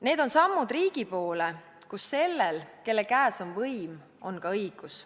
Need on sammud riigi poole, kus sellel, kelle käes on võim, on ka õigus.